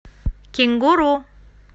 кенгуру